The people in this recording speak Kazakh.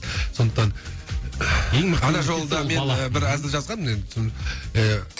сондықтан ана жолы да мен бір әзіл жазғанмын